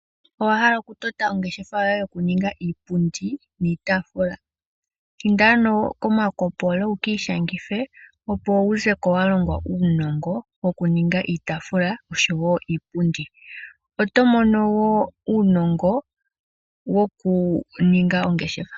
Owahala okutota ongeshefa yoye yokuninga iipundi niitafula inda ano koMakopolo wukiishangithe opo wulongwe okuninga iitafula osho yo iipundi otomono wo uunongo wokuninga ongeshefa.